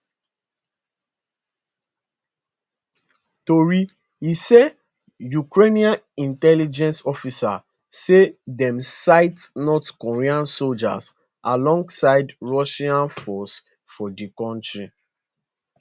tori e say ukrainian intelligence officers say dem sight north korean soldiers alongside russian forces for di country